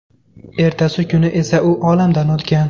Ertasi kuni esa u olamdan o‘tgan.